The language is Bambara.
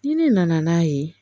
Ni ne nana n'a ye